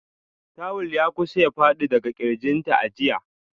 Tuwul ya kusa ya fadi daga kirginta a jiya.